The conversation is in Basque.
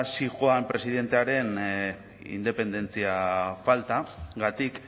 zihoan presidentearen independentzia faltagatik